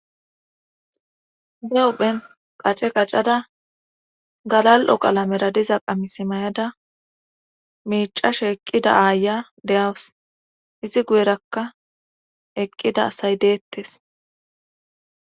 Be huphen qace qacada galal7o qalamera diza qamis may7ada miicashe eqqida aaya deyawus izi guyerakka eqqida asay deettes